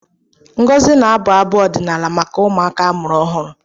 Ngozi na-abụ abụ ọdịnala maka ụmụaka amụrụ ọhụrụ.